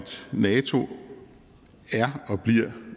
nato er og bliver